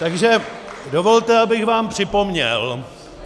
Takže dovolte, abych vám připomněl -